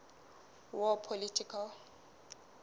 war political